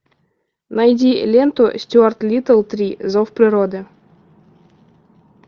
найди ленту стюарт литл три зов природы